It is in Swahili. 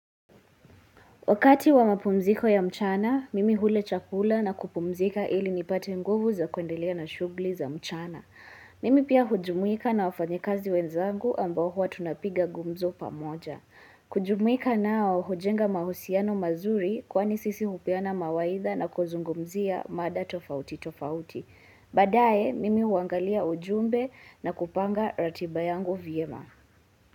Wakati wa mapumziko ya mchana, mimi hula chakula na kupumzika ili nipate nguvu za kuendelea na shughuli za mchana. Mimi pia hujumuika na wafanyikazi wenzangu ambao huwa tunapiga gumzo pamoja. Kujumuika nao hujenga mahusiano mazuri kwani sisi hupeana mawaitha na kuzungumzia mada tofauti tofauti. Badaye, mimi huangalia ujumbe na kupanga ratiba yangu vyema.